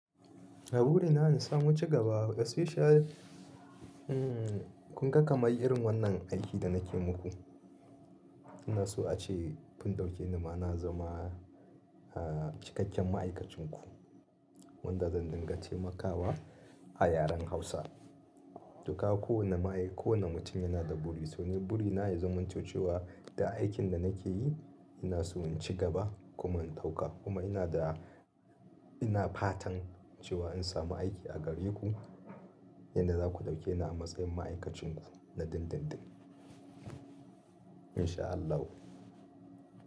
Na buri na in samu cigaba especially, kun ga kamar irin wannan aikin da nake muku. Ina so a ce kun ɗaukeni ma na zama cikakken ma'aikacin ku. Yanda zan dinga taimakawa a yaren Hausa. To ka ga kowanne ma'ai-- kowanne mutum yana da buri. To ni buri na ya zamanto cewa duk aikin da nake yi ina so in ci gaba kuma in ɗauka. Kuma ina da, ina fatan cewa in samu aiki a gareku yanda za ku ɗaukeni a matsayin ma'aikacin ku na dindindin.